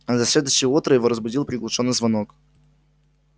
на следующее утро его разбудил приглушённый звонок